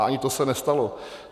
A ani to se nestalo.